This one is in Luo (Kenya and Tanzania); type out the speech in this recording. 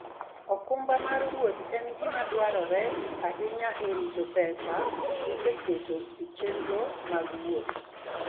okumba mar wuoth en gima dwarore ahinya e rito pesa miseketo e chenro mag wuoth.